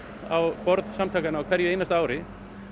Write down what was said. á borð samtakanna á hverju einasta ári